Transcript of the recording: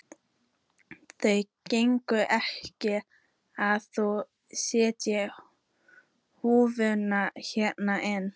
Það gengur ekki að þú sért húkandi hérna inni.